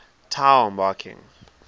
tao marking